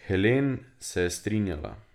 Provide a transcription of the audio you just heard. Helen se je strinjala.